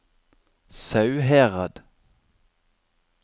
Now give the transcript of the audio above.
Sauherad